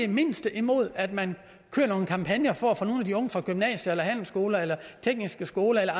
det mindste imod at man kører nogle kampagner for at få nogle af de unge fra gymnasier eller handelsskoler eller tekniske skoler eller